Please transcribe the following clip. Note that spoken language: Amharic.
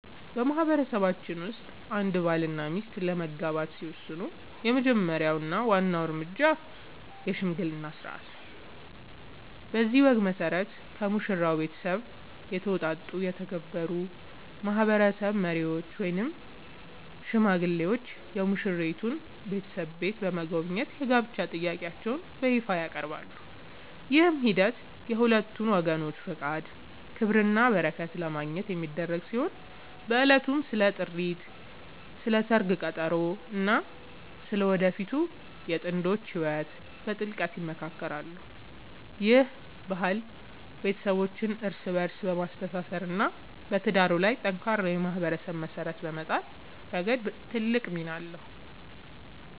በማህበረሰባችን ውስጥ አንድ ባልና ሚስት ለመጋባት ሲወስኑ የመጀመሪያው እና ዋናው እርምጃ **የሽምግልና ሥርዓት** ነው። በዚህ ወግ መሠረት፣ ከሙሽራው ቤተሰብ የተውጣጡ የተከበሩ ማህበረሰብ መሪዎች ወይም ሽማግሌዎች የሙሽራይቱን ቤተሰብ ቤት በመጎብኘት የጋብቻ ጥያቄያቸውን በይፋ ያቀርባሉ። ይህ ሂደት የሁለቱን ወገኖች ፈቃድ፣ ክብርና በረከት ለማግኘት የሚደረግ ሲሆን፣ በዕለቱም ስለ ጥሪት፣ ስለ ሰርግ ቀጠሮ እና ስለ ወደፊቱ የጥንዶቹ ህይወት በጥልቀት ይመካከራሉ። ይህ ባህል ቤተሰቦችን እርስ በእርስ በማስተሳሰር እና በትዳሩ ላይ ጠንካራ የማህበረሰብ መሰረት በመጣል ረገድ ትልቅ ሚና ይጫወታል።